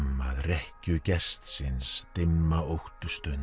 rekkju gestsins dimma